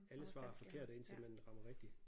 Alle svar er forkerte indtil man rammer rigtigt